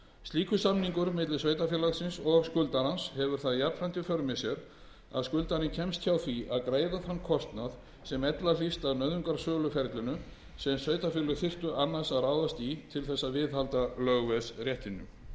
slíkur samningur milli sveitarfélagsins og skuldarans hefur það jafnframt í för með sér að skuldarinn kemst hjá því að greiða þann kostnað sem ella hlytist af nauðungarsöluferlinu sem sveitarfélög þyrftu annars að ráðast í til að viðhalda lögveðsréttinum